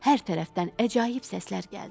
Hər tərəfdən əcaib səslər gəldi.